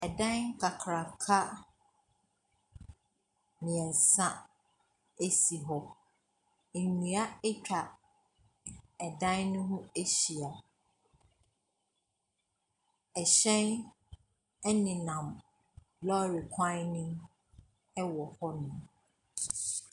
Ɛdaei kakaaka mmiensa esi hɔ. nnua etwa ɛdaei no ho ahyia. Ɛhyɛn ɛne nam lɔɔre kwan nim ɛwɔ hɔ nom.